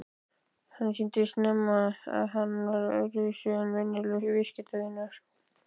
Hann sýndi snemma að hann var öðruvísi en venjulegur viðskiptavinur.